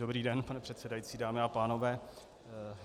Dobrý den, pane předsedající, dámy a pánové.